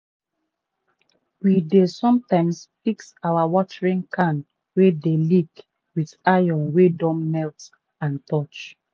we dey sometimes fix our watering can wey d leek with iron wey don melt and torch.